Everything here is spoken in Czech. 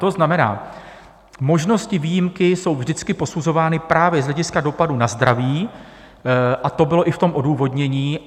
To znamená, možnosti výjimky jsou vždycky posuzovány právě z hlediska dopadu na zdraví, a to bylo i v tom odůvodnění.